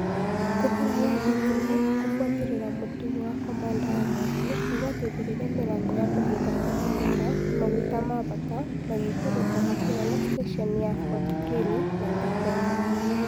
Kũhora gwa thitima kũbuatĩrĩra mũtugo wa komanda wa mwaki nĩgwateithirie mĩrango ya kũhinga kũhingũka na maguta mabata magĩikũrũka hakuna na stesheni ya Fort Greely namba kenda